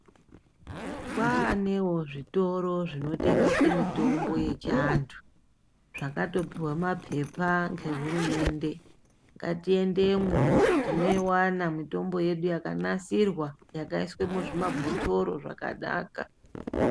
Kwaanewo zvitoro zvinotengese mitombo yechiantu zvakatopuwa mapepa ngehurumende. Ngatiendemwo, tinoiwana mitombo yedu yakanasirwa, yakaiswe muzvimabhotoro zvakanaka.